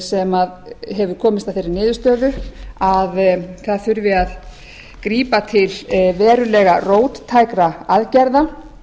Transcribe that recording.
sem hefur komist að þeirri niðurstöðu að það þurfi að grípa til verulegra róttækra aðgerða